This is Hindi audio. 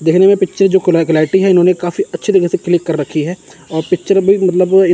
देखने में पिक्चर जो इन्होंने काफी अच्छे तरीके से क्लिक कर रखी है और पिक्चर भी मतलब ये--